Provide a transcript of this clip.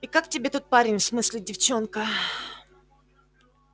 и как тебе тот парень в смысле девчонка